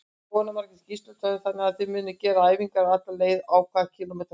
Jóhanna Margrét Gísladóttir: Þannig að þið munuð gera æfingar alla leið, á hvað kílómetra fresti?